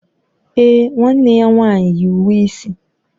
Èè, nwanne ya nwanyị yi uwe isi.